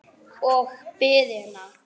Og biðina.